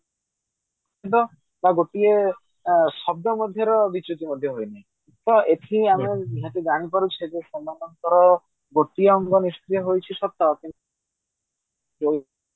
ଗୋଟିଏ ଶବ୍ଦ ମଧ୍ୟରେ ବିଚ୍ୟୁତି ମଧ୍ୟ ହୋଇନି ଏଠି ଆମେ ଜାଣି ପାରୁଛେ ଯେ ସେମାନଙ୍କର ଗୋଟିଏ ଅଙ୍ଗ ନିଷ୍କ୍ରିୟ ହେଇଛି ସତ କିନ୍ତୁ